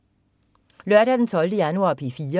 Lørdag den 12. januar - P4: